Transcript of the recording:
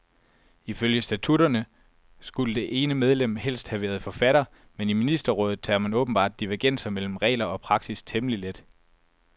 Ifølge statutterne skulle det ene medlem helst have været forfatter, men i ministerrådet tager man åbenbart divergenser mellem regler og praksis temmelig let.